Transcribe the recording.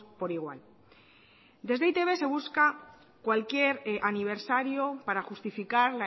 por igual desde e i te be se busca cualquier aniversario para justificar